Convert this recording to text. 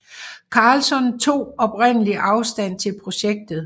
Carlson tog oprindeligt afstand til projektet